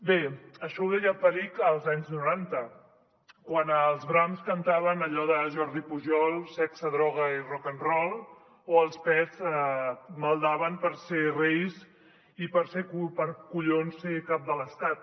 bé això ho deia perich als anys noranta quan els brams cantaven allò de jordi pujol sexe droga i rock and roll o els pets maldaven per ser reis i per collons ser cap de l’estat